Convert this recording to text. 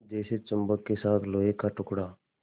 जैसे चुम्बक के साथ लोहे का टुकड़ा